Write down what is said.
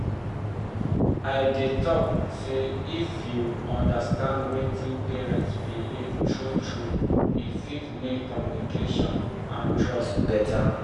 i dey talk sey if you understand wetin patient believe true-true e fit make communication and trust better.